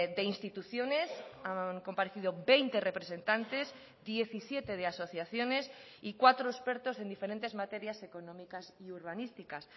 de instituciones han comparecido veinte representantes diecisiete de asociaciones y cuatro expertos en diferentes materias económicas y urbanísticas